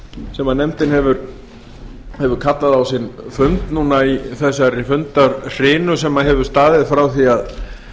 sem nefndin hefur kallað á sinn fund núna í þessari fundahrinu sem hefur staðið frá því að